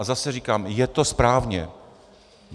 A zase říkám, je to správně.